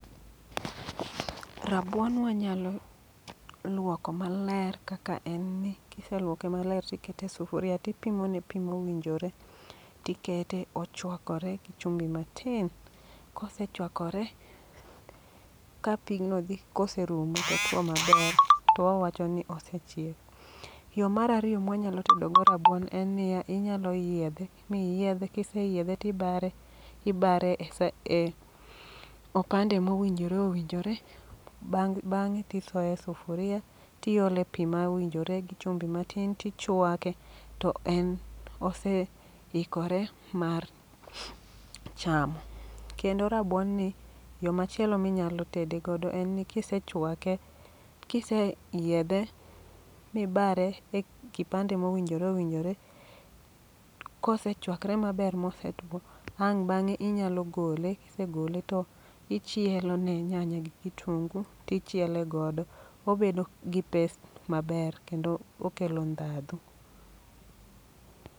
Rabuon wanyalo luoko maler kaka en ni, kiseluoke maler tikete e sufuria tipimo ne pi mowinjore. Tikete ochwakore gi chumbi matin, kosechwakore ka pigno dhi kose rumo totwo maber, to wawacho ni osechiek. Yo marariyo mwa nyalo tedogo rabuon en niya, inyalo yiedhe miyiedhe, kiseyiedhe tibare ibare e sa e opande mowinjore owinjore. Bang'e tisoye e sufuria, tiole pi ma owinjore gi chumbi matin tichwake. To en oseikore mar chamo. Kendo rabuon ni, yo machielo minyalo tede godo en ni kisechwake, kise yiedhe mibare e kipande mowinjore owinjore. Kose chwakre maber mose two, ang' bang'e inyalo gole. Kise gole to ichielo ne nyanya gi kitungu, tichiele godo. Obedo gi taste maber kendo okelo ndhadho.